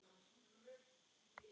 Það hefði toppað allt.